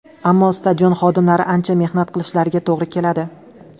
Ammo stadion xodimlari ancha mehnat qilishlariga to‘g‘ri keladi.